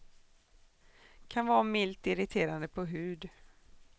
Kan vara milt irriterande på hud.